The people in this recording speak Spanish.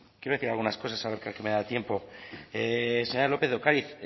quiero decir algunas cosas ahora que creo que me da tiempo señora lópez de ocariz